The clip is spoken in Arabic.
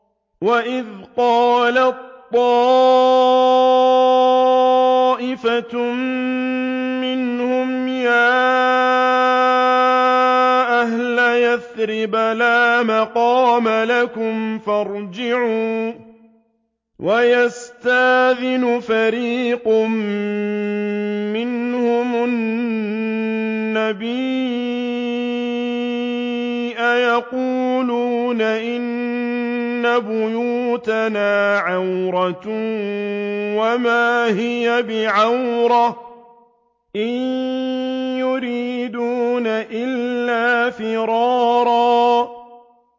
وَإِذْ قَالَت طَّائِفَةٌ مِّنْهُمْ يَا أَهْلَ يَثْرِبَ لَا مُقَامَ لَكُمْ فَارْجِعُوا ۚ وَيَسْتَأْذِنُ فَرِيقٌ مِّنْهُمُ النَّبِيَّ يَقُولُونَ إِنَّ بُيُوتَنَا عَوْرَةٌ وَمَا هِيَ بِعَوْرَةٍ ۖ إِن يُرِيدُونَ إِلَّا فِرَارًا